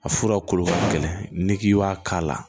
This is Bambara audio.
A fura kolo ka gɛlɛn n'i k'i b'a k'a la